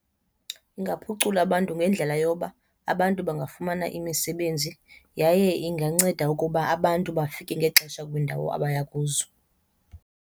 Ingaphucula abantu ngendlela yoba abantu bangafumana imisebenzi yaye inganceda ukuba abantu bafike ngexesha kwiindawo abaya kuzo.